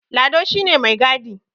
Lado shi ne mai gadi